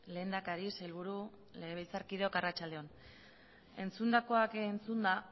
lehendakari sailburu legebiltzarkideok arratsalde on entzundakoak entzunda